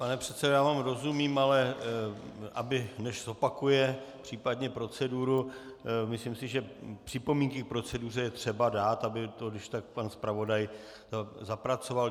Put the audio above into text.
Pane předsedo, já vám rozumím, ale aby než zopakuje případně proceduru, myslím si, že připomínky k proceduře je třeba dát, aby to když tak pan zpravodaj zapracoval.